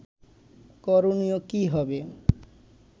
করণীয় কী হবে